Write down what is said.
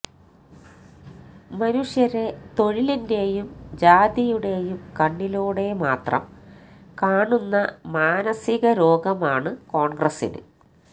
മനുഷ്യരെ തൊഴിലിന്റെയും ജാതിയുടെയും കണ്ണിലൂടെ മാത്രം കാണുന്ന മാനസികരോഗമാണ് കോണ്ഗ്രസിന്